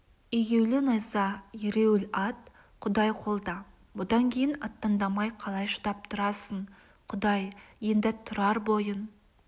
егеулі найза ереуіл ат құдай қолда бұдан кейін аттандамай қалай шыдап тұрасың құдай енді тұрар бойын